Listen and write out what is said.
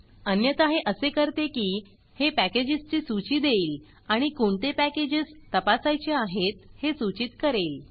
अन्यथा हे असे करते की हे पॅकेजस ची सूची देईल आणि कोणते पॅकेजस तपासायचे आहेत हे सूचीत करेल